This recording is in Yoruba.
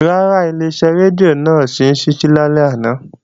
Rárá, Ileṣẹ́ rédíò náà ò sí ní ṣíṣí lálẹ́ àná